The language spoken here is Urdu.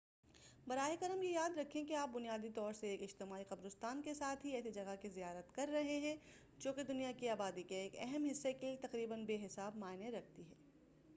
براہ کرم یہ یاد رکھیں کہ آپ بنیادی طور سے ایک اجتماعی قبرستان کے ساتھ ہی ایسی جگہ کی زیارت کر رہے ہیں جو کی دنیا کی آبادی کے ایک اہم حصے کے لئے تقریباً بے حساب معنی رکھتی ہے